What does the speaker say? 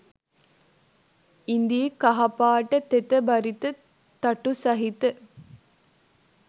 ඉදී කහපාට තෙත බරිත තටු සහිත